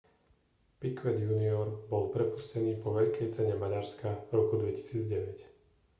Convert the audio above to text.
piquet jr bol prepustený po veľkej cene maďarskav roku 2009